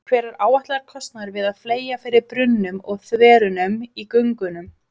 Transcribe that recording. Hver er áætlaður kostnaður við að fleyga fyrir brunnum og þverunum í göngunum?